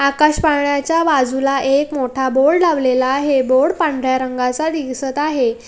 आकाश पाळण्याचा बाजूला एक मोठा बोर्ड लावलेला आहे बोर्ड पांढर्‍या रंगा चा दिसत आहे.